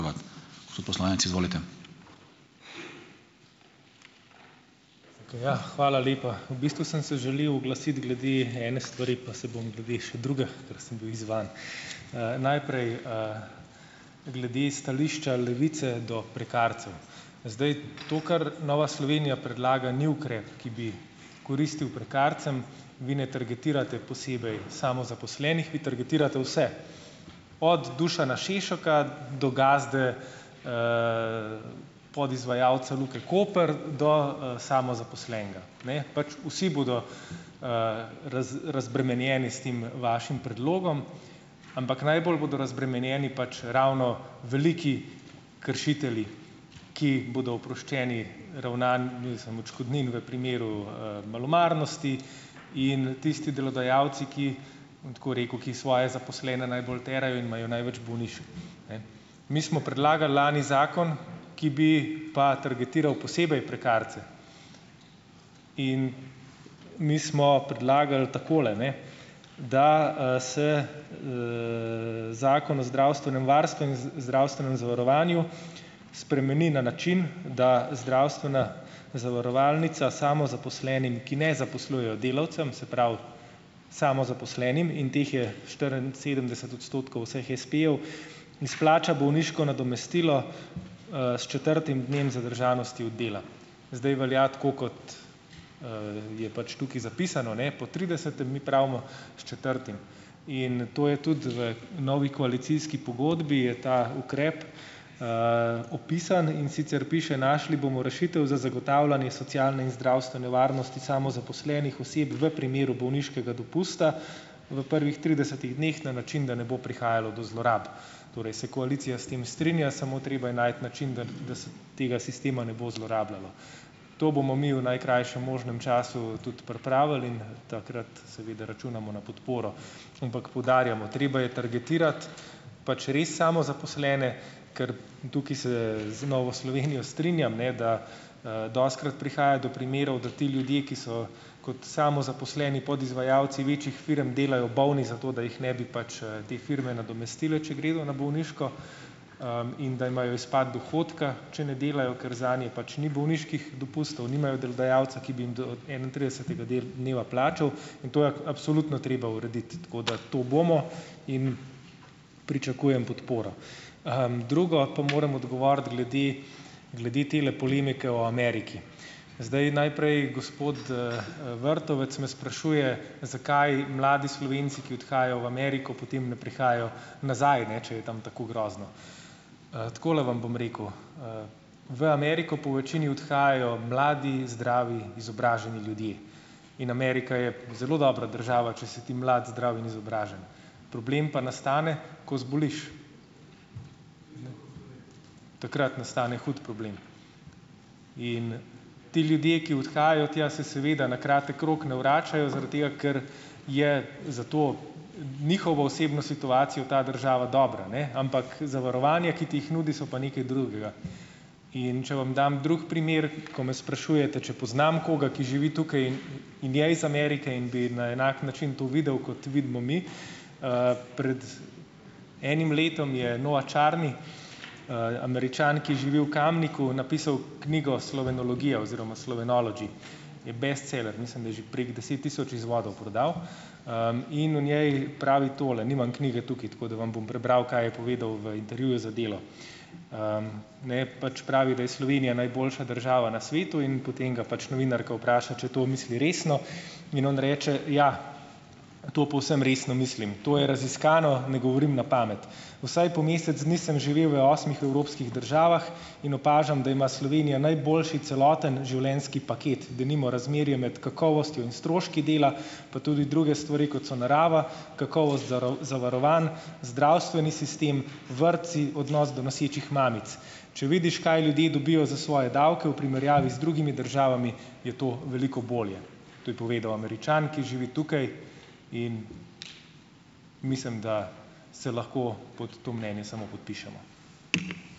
Hvala lepa. V bistvu sem se želel oglasiti glede ene stvari pa se bom glede še druge, ker sem bil izzvan. Najprej glede stališča Levice do prekarcev. Zdaj. To, kar Nova Slovenija predlaga, ni ukrep, ki bi koristil prekarcem. Vi ne targetirate posebej samozaposlenih, vi targetirate vse, od Dušana Šešoka do gazde, podizvajalce Luke Koper do, samozaposlenega, ne, pač vsi bodo razbremenjeni s tem vašim predlogom, ampak najbolj bodo razbremenjeni pač ravno veliki kršitelji, ki bodo oproščeni mislim, odškodnin v primeru, malomarnosti in tisti delodajalci, ki, bom tako rekel, ki svoje zaposlene najbolj terajo in imajo največ bolniških. Mi smo predlagali lani zakon, ki bi pa targetiral posebej prekarce. Mi smo predlagali, takole, ne, da, se Zakon o zdravstvenem varstvu in zdravstvenem zavarovanju spremeni na način, da zdravstvena zavarovalnica samozaposlenim, ki ne zaposlujejo delavcev, se pravi samozaposlenim, in teh je štiriinsedemdeset odstotkov vseh espejev, izplača bolniško nadomestilo, s četrtim dnem zadržanosti od dela. Zdaj velja tako, kot, je pač tukaj zapisano, ne, po tridesetem mi pravimo s četrtim. In to je tudi v novi koalicijski pogodbi, je ta ukrep opisan. In sicer piše: "Našli bomo rešitev za zagotavljanje socialne in zdravstvene varnosti samozaposlenih oseb v primeru bolniškega dopusta v prvih tridesetih dneh na način, da ne bo prihajalo do zlorab." Torej se koalicija s tem strinja, samo treba je najti način, tega sistema ne bo zlorabljalo. To bomo mi v najkrajšem možnem času tudi pripravili in takrat seveda računamo na podporo. Ampak poudarjamo, treba je targetirati pač res samozaposlene, ker tukaj se z Novo Slovenijo strinjam, ne, da, dostikrat prihaja do primerov, da ti ljudje, ki so kot samozaposleni podizvajalci večjih firm, delajo bolni zato, da jih ne bi pač, te firme nadomestile, če gredo na bolniško, in da imajo izpad dohodka, če ne delajo, ker zanje pač ni bolniških dopustov, nimajo delodajalca, ki bi jim do enaintridesetega dneva plačal, in to je absolutno treba urediti, tako da, to bomo in pričakujem podporo. drugo. Pa moram odgovoriti glede glede tele polemike o Ameriki. Zdaj, najprej, gospod, Vrtovec me sprašuje, zakaj mladi Slovenci, ki odhajajo v Ameriko, potem ne prihajajo nazaj, ne, če je tam tako grozno. Takole vam bom rekel. V Ameriko po večini odhajajo mladi, zdravi, izobraženi ljudje in Amerika je zelo dobra država, če si ti mlad, zdrav in izobražen, problem pa nastane, ko zboliš, takrat nastane hud problem. Ti ljudje, ki odhajajo tja, se seveda na kratek rok ne vračajo, zaradi tega, ker je za to njihovo osebno situacijo ta država dobra, ne, ampak zavarovanja, ki ti jih nudi, so pa nekaj drugega. In če vam dam drugi primer, ko me sprašujete, če poznam koga, ki živi tukaj in je iz Amerike in bi na enak način to videl, kot vidimo mi. Pred enim letom je Noah Charney, Američan, ki živi v Kamniku, napisal knjigo Slovenologija, oziroma Slovenology, je bestseler, mislim, da je že prek deset tisoč izvodov prodal. in v njej pravi tole, nimam knjige tukaj tako, da vam bom prebral, kaj je povedal v intervjuju za Delo. Ne, pač pravi, da je Slovenija najboljša država na svetu in potem ga pač novinarka vpraša, če to misli resno, in on reče: "Ja, to povsem resno mislim, to je raziskano, ne govorim na pamet. Vsaj po mesec dni sem živel v osmih evropskih državah in opažam, da ima Slovenija najboljši celoten življenjski paket, denimo razmerje med kakovostjo in stroški dela, pa tudi druge stvari, kot so narava, kakovost zavarovanj, zdravstveni sistem, vrtci, odnos do nosečih mamic. Če vidiš, kaj ljudje dobijo za svoje davke v primerjavi z drugimi državami, je to veliko bolje." To je povedal Američan, ki živi tukaj. In mislim, da se lahko pod to mnenje samo podpišemo.